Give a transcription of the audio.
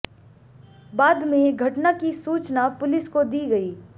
बाद में घटना की सूचना पुलिस को दी गई